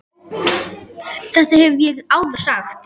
Þetta hef ég áður sagt.